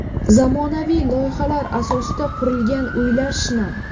Zamonaviy loyihalar asosida qurilgan uylar shinam.